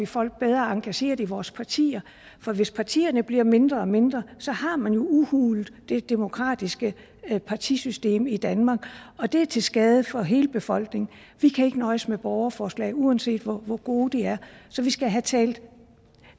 folk bedre engageret i vores partier for hvis partierne bliver mindre og mindre har man udhulet det demokratiske partisystem i danmark og det er til skade for hele befolkningen vi kan ikke nøjes med borgerforslag uanset hvor hvor gode de er så vi skal have talt